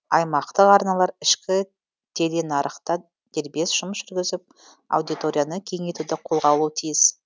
аймақтық арналар ішкі теленарықта дербес жұмыс жүргізіп аудиторияны кеңейтуді қолға алуы тиіс